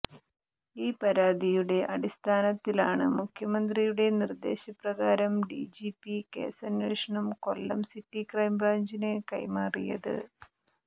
ഈ പരാതിയുടെ അടിസ്ഥാനത്തിലാണ് മുഖ്യമന്ത്രിയുടെ നിർദ്ദേശപ്രകാരം ഡിജിപി കേസന്വേഷണം കൊല്ലം സിറ്റി ക്രൈംബ്രാഞ്ചിന് കൈമാറിയത്